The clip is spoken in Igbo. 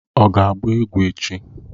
Ọ ga-agba egwu echi?